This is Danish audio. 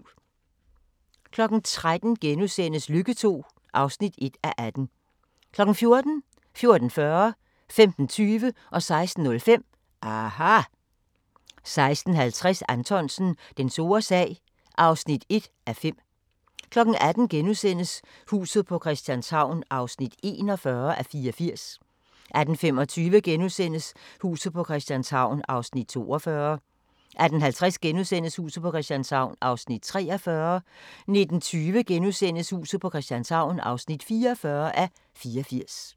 13:00: Lykke II (1:18)* 14:00: aHA! 14:40: aHA! 15:20: aHA! 16:05: aHA! 16:50: Anthonsen – Den store sag (1:5) 18:00: Huset på Christianshavn (41:84)* 18:25: Huset på Christianshavn (42:84)* 18:50: Huset på Christianshavn (43:84)* 19:25: Huset på Christianshavn (44:84)*